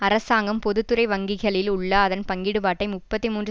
அரசாங்கம் பொது துறை வங்கிகளில் உள்ள அதன் பங்கீடுபாட்டை முப்பத்தி மூன்று